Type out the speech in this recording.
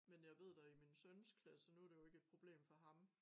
Men jeg ved da i min søns klasse nu det jo kke et problem for ham